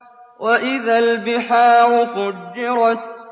وَإِذَا الْبِحَارُ فُجِّرَتْ